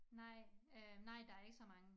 Nej øh nej der ikke så mange